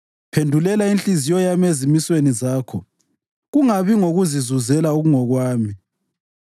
Phendulela inhliziyo yami ezimisweni zakho kungabi ngokokuzizuzela okungokwami.